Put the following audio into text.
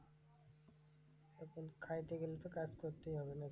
হম খাইতে গেলে তো কাজ করতেই হবে না?